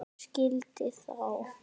Ég skildi þá.